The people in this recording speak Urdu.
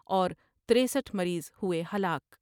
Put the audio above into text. اور ترسٹھ مریض ہوۓ ہلاک ۔